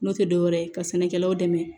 N'o tɛ dɔwɛrɛ ye ka sɛnɛkɛlaw dɛmɛ